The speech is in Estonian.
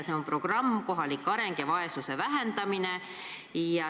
See on programm "Kohalik areng ja vaesuse vähendamine".